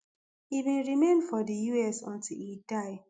e bin remain for di us until e die